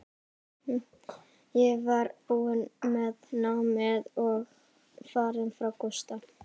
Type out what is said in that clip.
Ég var búin með námið og farin frá Gústa.